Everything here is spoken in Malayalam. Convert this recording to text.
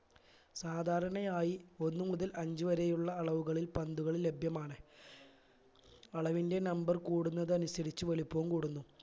സാധാരണയായി ഒന്ന് മുതൽ അഞ്ച്‌ വരെയുള്ള അളവുകളിൽ പന്തുകൾ ലഭ്യമാണ് അളവിന്റെ number കൂടുന്നത് അനുസരിച്ച് വലിപ്പവും കൂടുന്നു